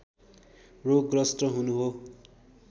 रोगग्रस्त हुनु हो